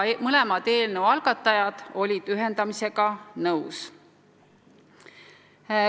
Mõlemad eelnõu algatajad olid ühendamisega nõus.